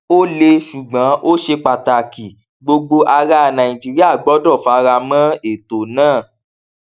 ó le ṣùgbọn ó ṣe pàtàkì gbogbo ará nàìjíríà gbọdọ fara mọ ètò náà